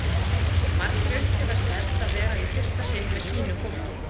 Margir upplifa sterkt að vera í fyrsta sinn með sínu fólki